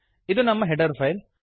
ಇದು ನಮ್ಮ header file